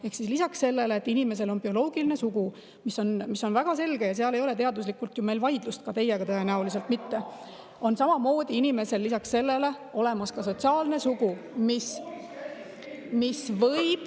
Ehk siis lisaks sellele, et inimesel on bioloogiline sugu, mis on väga selge ja mille puhul teaduslikult ei ole ju vaidlust, ka teiega tõenäoliselt mitte , on samamoodi inimesel olemas sotsiaalne sugu , mis võib …